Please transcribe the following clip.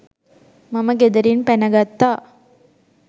මම ගෙදරින් පැන ගත්තා.